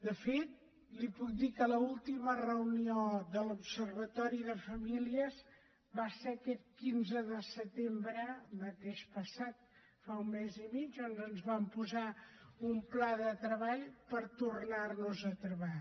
de fet li puc dir que l’última reunió de l’observatori de la família va ser aquest quinze de setembre mateix passat fa un mes i mig on ens vam posar un pla de treball per tornar nos a trobar